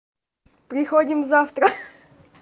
приходим завтра